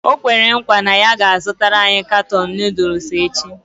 O kwere nkwa na ya ga-azụtara anyị katuun Nụ́dúls echi